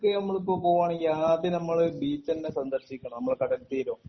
കോഴിക്കോടുക്ക് നമ്മൾ പോവേണെങ്കി ആദ്യം നമ്മൾ ബീച്ചെന്നെ സന്ദർശിക്കണം നമ്മളെ കടൽത്തീരം